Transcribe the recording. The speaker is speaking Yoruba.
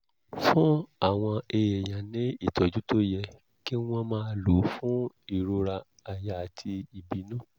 fún àwọn èèyàn ní ìtọ́jú tó yẹ kí wọ́n máa lò fún ìrora àyà àti ìbínú